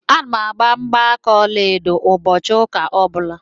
A na m agbà mgbaaka ọlaedo ụbọchị ụka ọ bụla.